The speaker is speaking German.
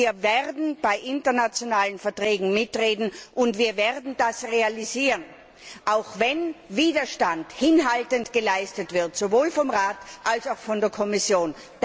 Wir werden bei internationalen Verträgen mitreden, und wir werden das realisieren, auch wenn hinhaltend Widerstand geleistet wird, sowohl vom Rat als auch von der Kommission.